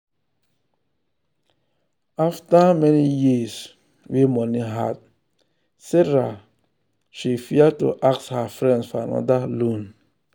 after many years wey money hard sarah she fear to ask her friends for another loan.